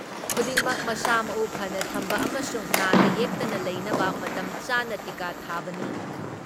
ꯈꯨꯗꯤꯡꯃꯛ ꯃꯁꯥ ꯃꯎ ꯐꯅ ꯊꯝꯕ ꯑꯃꯁꯨꯡ ꯅꯥꯗ ꯌꯦꯛꯇꯅ ꯂꯩꯅꯕ ꯃꯇꯝ ꯆꯥꯅ ꯇꯤꯀꯥ ꯊꯥꯕꯅꯤ ꯫